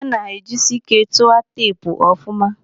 Ana ejisike tua teepu ọfụma.